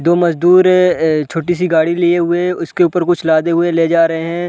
दो मजदुर है ए छोटी- सी गाड़ी लिए हुए उसके ऊपर कुछ लादे हुए ले जा रहे हैं।